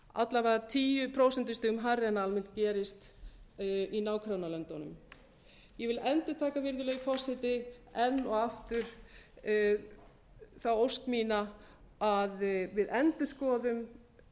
alla vega tíu prósent hærra en almennt gerist í nágrannalöndunum ég vil endurtaka virðulegi forseti enn og aftur þá ósk mína að við endurskoðum